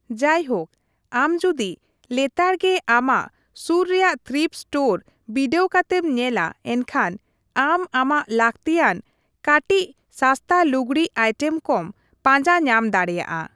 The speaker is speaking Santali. ᱡᱟᱭᱦᱳᱠ, ᱟᱢ ᱡᱩᱫᱤ ᱞᱮᱛᱟᱲ ᱜᱮ ᱟᱢᱟᱜ ᱥᱩᱨ ᱨᱮᱭᱟᱜ ᱛᱷᱨᱤᱯᱴ ᱥᱴᱳᱨ ᱵᱤᱰᱟᱹᱣ ᱠᱟᱛᱮᱢ ᱧᱮᱞᱟ ᱮᱱᱠᱷᱟᱱ ᱟᱢ ᱟᱢᱟᱜ ᱞᱟᱹᱠᱛᱤᱭᱟᱱ ᱠᱟᱹᱴᱤᱪ ᱥᱟᱥᱛᱟ ᱞᱩᱜᱽᱲᱤᱡ ᱟᱭᱴᱮᱢ ᱠᱚᱢ ᱯᱟᱸᱡᱟ ᱧᱟᱢ ᱫᱟᱲᱮᱭᱟᱜᱼᱟ ᱾